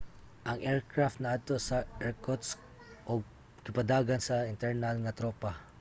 ang aircraft naadto sa irkutsk ug gipadagan sa mga internal nga tropa